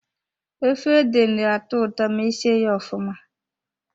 Efe ede na-atọ ụtọ ma e sie ya ofụma.